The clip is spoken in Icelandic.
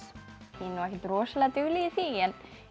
ekkert rosalega dugleg í því